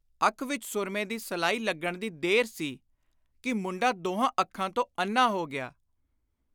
ਅੱਖ ਵਿਚ ਸੁਰਮੇ ਦੀ ਸਲਾਈ ਲੱਗਣ ਦੀ ਦੇਰ ਸੀ ਕਿ ਮੁੰਡਾ ਦੋਹਾਂ ਅੱਖਾਂ ਤੋਂ ਅੰਨ੍ਹਾ ਹੋ ਗਿਆ।